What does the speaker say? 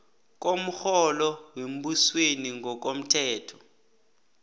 komrholo wembusweni ngokomthetho